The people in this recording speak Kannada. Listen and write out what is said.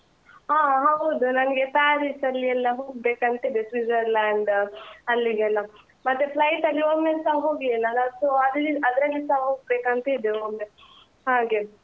ಹಾ ಹೌದು ನನ್ಗೆ Paris ಯೆಲ್ಲ ಹೋಗ್ಬೇಕಂತಿದೆ Switzerland ಅಲ್ಲಿಗೆಲ್ಲ ಮತ್ತೆ flight ಅಲ್ಲಿ ಒಮ್ಮೆಸ ಹೋಗ್ಲಿಲ್ಲ ಅಲ so ಅದ್ರಿ ಅದ್ರಲ್ಲಿಸ ಹೋಗ್ಬೇಕಂತಿದೆ ಒಮ್ಮೆ ಹಾಗೆ.